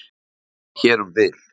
Hér um bil.